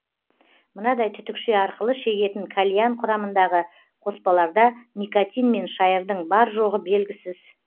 мынадай түтікше арқылы шегетін кальян құрамындағы қоспаларда никотин мен шайырдың бар жоғы белгісіз